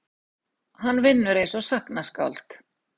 Hann vinnur einsog sagnaskáld.